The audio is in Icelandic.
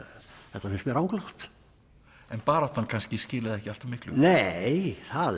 þetta finnst mér ranglátt en baráttan kannski skilaði ekki alltaf miklu nei það